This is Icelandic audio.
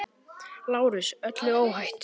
LÁRUS: Öllu óhætt!